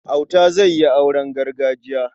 Auta zai yi auren gargajiya.